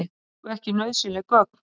Fengu ekki nauðsynleg gögn